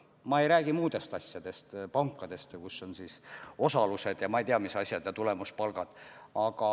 Ma ei räägi muudest teguritest, näiteks pankades ja mujal, kus on osalused ja ma ei tea, mis asjad, näiteks tulemuspalgad.